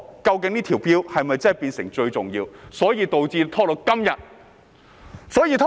究竟這項條例草案是否真的變成最重要，所以才拖延至今天呢？